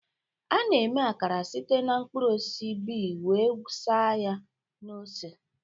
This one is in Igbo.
A na-eme Akara site na mkpụrụ osisi bee wee saa ya na ose.